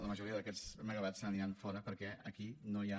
la majoria d’aquests megawatts se n’aniran fora perquè aquí no hi ha